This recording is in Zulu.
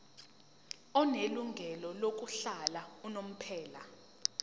onelungelo lokuhlala unomphela